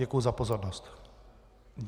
Děkuji za pozornost.